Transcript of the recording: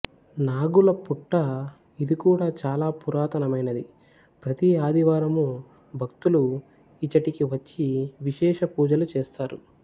నాగుల పుట్ట ఇది కూడా చాలా పురాతనమైనది ప్రతి ఆదివారము భక్తులు ఇచ్చటికి వచ్చి విశేష పూజలు చేస్తారు